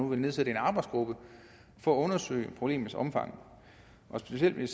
ville nedsætte en arbejdsgruppe for at undersøge problemets omfang specielt vil